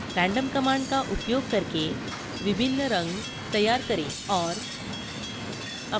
random command का उपयोग करके विभिन्न रंग तैयार करें और